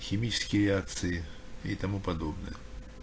химические реакции и тому подобное